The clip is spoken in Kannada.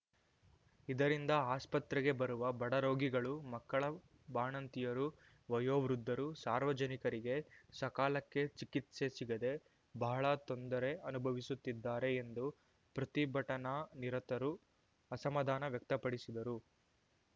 ಇದರಿಂದ ಆಸ್ಪತ್ರೆಗೆ ಬರುವ ಬಡ ರೋಗಿಗಳು ಮಕ್ಕಳು ಬಾಣಂತಿಯರು ವಯೋ ವೃದ್ಧರು ಸಾರ್ವಜನಿಕರಿಗೆ ಸಕಾಲಕ್ಕೆ ಚಿಕಿತ್ಸೆ ಸಿಗದೇ ಬಹಳ ತೊಂದರೆ ಅನುಭವಿಸುತ್ತಿದ್ದಾರೆ ಎಂದು ಪ್ರತಿಭಟನಾನಿರತರು ಅಸಮಧಾನ ವ್ಯಕ್ತಪಡಿಸಿದರು